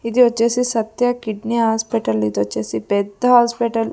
ఇది వచ్చేసి Satya kidney hospital ఇది వచ్చేసి పెద్ద హాస్పిటల్ .